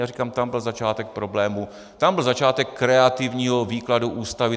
Já říkám, tam byl začátek problémů, tam byl začátek kreativního výkladu Ústavy.